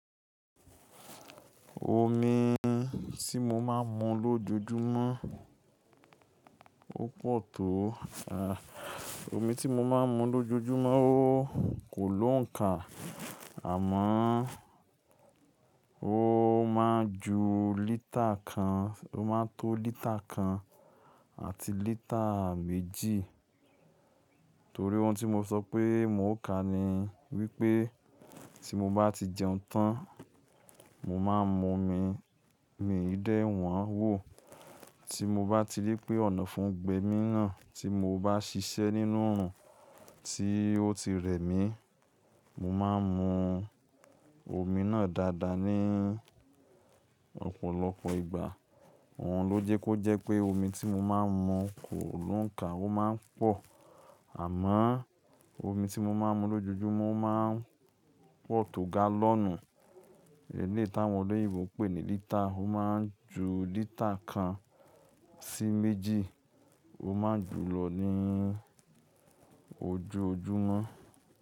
Omi tí mo máa ń mu lójojúmọ́ ó pọ̀ tó, omi tí mo máa ń mu lójojúmọ́ ó kò lóǹkà àmọ́ ó máa ju lítà kan, ó máa tó lítà kan àti lítà méjì torí ohun tí mo sọ pé mò ń ka ni wípé tí mo bá ti jẹun tán, mo máa ń mu omi, omi yé dé won wo. Tí mo bá ti rí pé ọ̀nàfun gbé mi náà, tí mo bá ṣiṣẹ́ nínú òrùn tí ó ti rẹ̀ mí, mo máa ń mu omi náà dáadáa ni ọ̀pọ̀lọpọ̀ ìgbà. Òhun ló jẹ́ kó jẹ́ pé omi tí mo máa ń mu kò lóǹkà, ó máa ń pọ̀. Àmọ́ omi tí mo máa ń mu lójojúmọ́ ó máa ń pọ̀ tó gálọ̀nù, èlé táwọn olóyèbo pè ní lítà, ó máa ń ju lítà kan sí méjì, ó máa ń jù lọ ní ojoojúmọ́